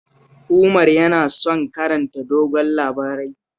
Umar yana son karanta dogayen labarai